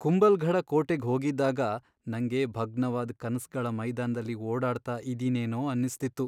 ಕುಂಭಲ್ಗಢ ಕೋಟೆಗ್ ಹೋಗಿದ್ದಾಗ ನಂಗೆ ಭಗ್ನವಾದ್ ಕನ್ಸ್ಗಳ ಮೈದಾನದಲ್ಲಿ ಓಡಾಡ್ತಾ ಇದೀನೇನೋ ಅನ್ಸ್ತಿತ್ತು.